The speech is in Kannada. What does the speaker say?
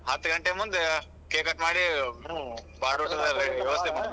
ಹತ್ತ್ ಘಂಟೆ ಮುಂದ cake cut ಮಾಡಿ .